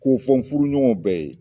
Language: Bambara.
K'o fɔ n furuɲɔgɔnw bɛɛ ye